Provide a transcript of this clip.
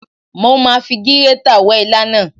Mo ma fi gírétà wẹ́ ilá náà.